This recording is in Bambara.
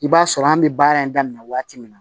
I b'a sɔrɔ an bɛ baara in daminɛ waati min na